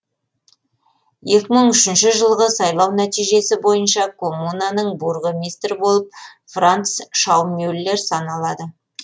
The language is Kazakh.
екі мың үшінші жылғы сайлау нәтижесі бойынша коммунаның бургомистрі болып франц шаумюллер саналады